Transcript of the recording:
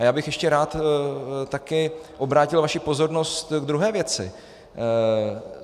A já bych ještě rád taky obrátil vaši pozornost k druhé věci.